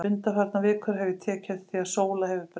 Undanfarnar vikur hef ég tekið eftir því að Sóla hefur breyst.